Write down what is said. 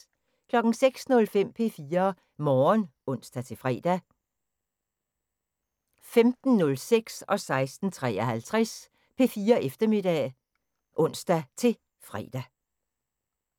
06:05: P4 Morgen (ons-fre) 15:06: P4 Eftermiddag (ons-tor) 16:53: P4 Eftermiddag (ons-fre)